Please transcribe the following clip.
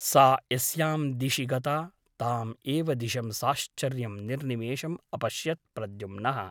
सा यस्यां दिशि गता ताम् एव दिशं साश्चर्यं निर्निमेषम् अपश्यत् प्रद्युम्नः ।